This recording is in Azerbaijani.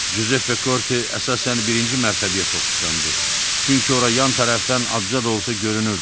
Cüzeppe Korte əsasən birinci mərtəbəyə fokuslandı, çünki ora yan tərəfdən azca da olsa görünürdü.